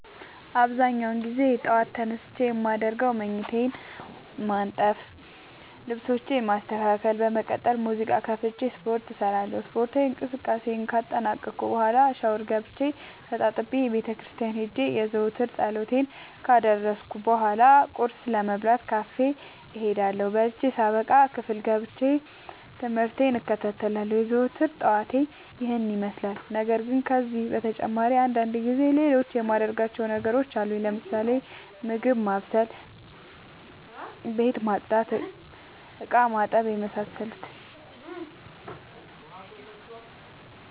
አብዛኛውን ግዜ ጠዎት ተነስቼ የማደርገው መኝታዬን ማነጠፍ ልብሶቼን ማስተካከል በመቀጠልም ሙዚቃ ከፍቼ ስፓርት እሰራለሁ ስፓርታዊ እንቅስቃሴን ካጠናቀቅኩ በኋ ሻውር ገብቼ ተጣጥቤ ቤተክርስቲያን ሄጄ የዘወትር ፀሎቴን ካደረስኩ በሏ ቁርስ ለመብላት ካፌ እሄዳለሁ። በልቼ ሳበቃ ክፍል ገብቼ። ትምህርቴን እከታተላለሁ። የዘወትር ጠዋቴ ይህን ይመስላል። ነገርግን ከነዚህ በተጨማሪ አንዳንድ ጊዜ ሌሎቹ የማደርጋቸው ተግባሮች አሉኝ ለምሳሌ፦ ምግብ ማብሰል፤ ቤት መፅዳት፤ እቃማጠብ የመሳሰሉት።